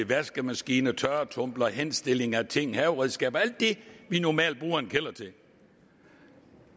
vaskemaskine tørretumbler henstilling af ting og haveredskaber alt det vi normalt bruger en kælder til